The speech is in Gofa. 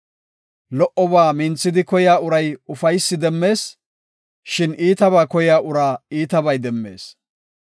Lo77oba minthidi koyiya uray ufaysaa demmees; shin iitabaa koyiya uraa iitabay demmees.